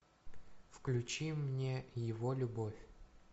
включи мне его любовь